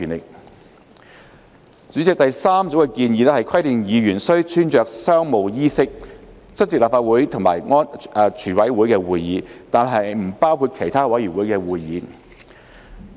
代理主席，第三組建議規定議員須穿着商務衣飾出席立法會及全委會會議，但不包括其他委員會會議。